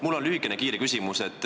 Mul on lühike kiire küsimus.